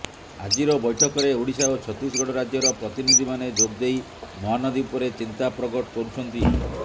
ଆଜିର ବୈଠକରେ ଓଡ଼ିଶା ଓ ଛତିଶଗଡ଼ ରାଜ୍ୟର ପ୍ରତିନିଧିମାନେ ଯୋଗଦେଇ ମହାନଦୀ ଉପରେ ଚିନ୍ତା ପ୍ରକଟ କରୁଛନ୍ତି